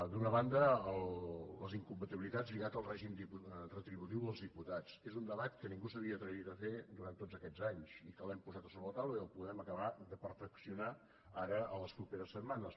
d’una banda les incompatibilitats lligades al tipus retributiu dels diputats és un debat que ningú s’havia atrevit a fer durant tots aquests anys que l’hem posat sobre la taula i el podem acabar de perfeccionar ara les properes setmanes